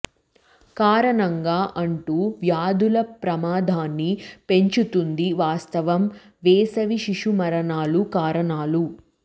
కారణంగా అంటు వ్యాధుల ప్రమాదాన్ని పెంచుతుంది వాస్తవం వేసవి శిశు మరణాల కారణాలు